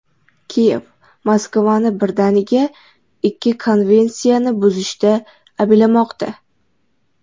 Kiyev Moskvani birdaniga ikki konvensiyani buzishda ayblamoqda.